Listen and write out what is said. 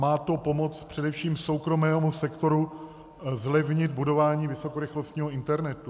Má to pomoci především soukromému sektoru zlevnit budování vysokorychlostního internetu.